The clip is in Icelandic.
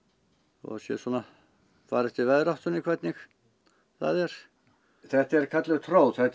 þó það fari eftir veðráttunni hvernig það er þetta er kölluð tróð þetta er